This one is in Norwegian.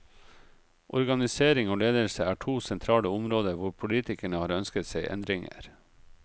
Organisering og ledelse er to sentrale områder hvor politikerne har ønsket seg endringer.